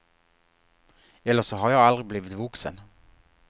Eller så har jag aldrig blivit vuxen.